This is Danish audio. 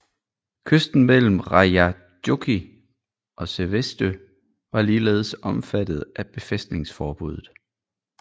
Kysten mellem Rajajoki og Seivestö var ligeledes omfattet af befæstningsforbuddet